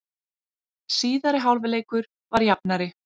Síðari hálfleikur var jafnari